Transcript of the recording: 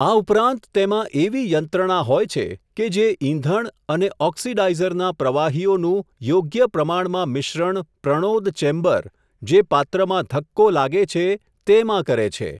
આ ઉપરાંત તેમાં એવી યંત્રણા હોય છે, કે જે ઇંધણ અને ઓકિસડાઇઝરના પ્રવાહીઓનું યોગ્ય પ્રમાણમાં મિશ્રણ પ્રણોદ ચેમ્બર, જે પાત્રમાં ધક્કો લાગે છે તેમાં કરે છે.